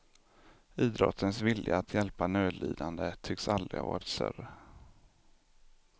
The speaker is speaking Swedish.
Idrottens vilja att hjälpa nödlidande tycks aldrig ha varit större.